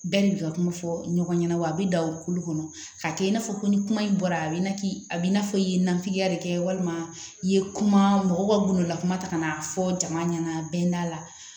Bɛɛ de bi ka kuma fɔ ɲɔgɔn ɲɛna wa a be dan o kulu kɔnɔ ka kɛ i n'a fɔ ko ni kuma in bɔra a bi na a bi n'a fɔ i ye nafigiya de kɛ walima i ye kuma mɔgɔw ka gundola kuma ta ka n'a fɔ jama ɲɛna bɛn'a la